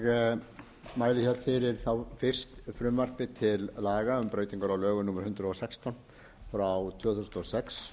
mæli hér fyrir fyrst frumvarpi til laga um breytingar á lögum númer hundrað og sextán frá tvö þúsund og sex